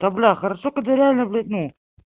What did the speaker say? хорошо когда реально блесну